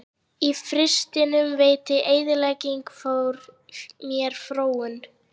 Í fyrstunni veitti eyðileggingin mér fróun.